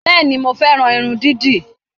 Bẹ́ẹ̀ni, mo fẹ́ran irun dídì